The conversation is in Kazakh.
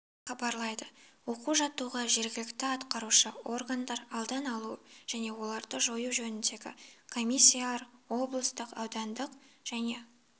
хабарлайды оқу-жаттығуға жергілікті атқарушы органдар алдын алу және оларды жою жөніндегі комиссиялар облыстық аудандық және